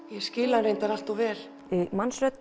ég skil hann reyndar allt of vel